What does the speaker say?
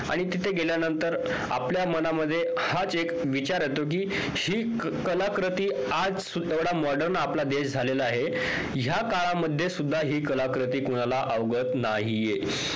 आणि तिथे गेल्यानंतर आपल्या मनामध्ये हाच एक विचार येतो हि कलाकृती आज modern आपला देश झालेला आहे ह्या काळामध्ये सुद्धा हि कलाकृती कोणाला अवगत नाहीये